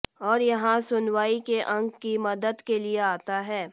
और यहाँ सुनवाई के अंग की मदद के लिए आता है